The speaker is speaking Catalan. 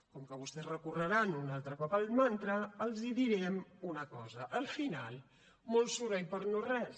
com que vostès recorreran un altre cop al mantra els direm una cosa al final molt soroll per no res